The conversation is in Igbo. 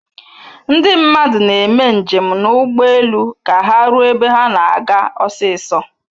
Ndị mmadụ na-eme njem na ugbu elu ka ha ruo ebe ha na-aga osiso